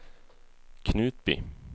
Knutby